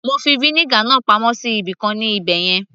mo fi vinegar náà pamọ́ sí ibìkan ní ibẹ̀yẹn